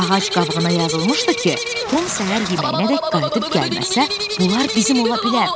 Ağac qabığına yazılmışdı ki, Tom səhər yeməyinəcək qayıdıb gəlməsə, bunlar bizim ola bilər.